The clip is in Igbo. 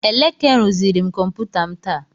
Eleke rụziri m kọmputa m taa.